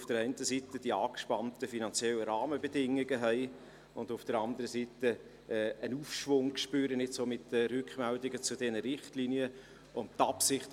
Auf der einen Seite haben wir die angespannten finanziellen Rahmenbedingungen, und auf der anderen Seite spüren wir mit den Rückmeldungen zu diesen Richtlinien einen Aufschwung.